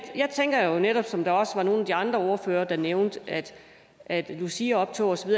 tænker jo netop som der også var nogle af de andre ordførere der nævnte at luciaoptog og så